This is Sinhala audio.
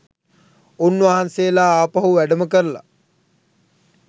උන්වහන්සේලා ආපහු වැඩම කරලා